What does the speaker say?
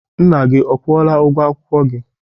Nna gị ọ kwụọla ụgwọ akwụkwọ gị?